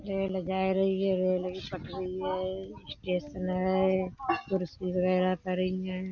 Rail जाए रही हैं रेल की पटरी हैं स्टेशन है कुर्सी वगैरा पड़ी हैं।